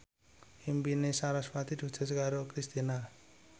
impine sarasvati diwujudke karo Kristina